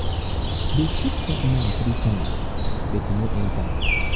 dey um shoot dat man three times but e no enter.